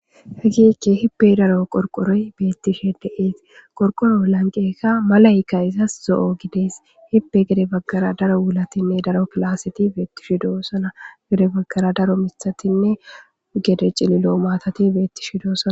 hagikke hibbe daro qorqoroy beettishe deees qorqoro lanqeka malayka izas zo7o gidees hibbe gede baggara daro wulatinne daro kilaseti beettishidosana gede baggara daro mithatinne gede cililo maatati beettishidoosana